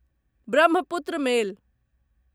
Brahmaputra मेल